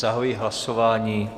Zahajuji hlasování.